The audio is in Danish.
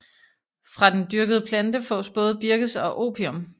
Fra den dyrkede plante fås både birkes og opium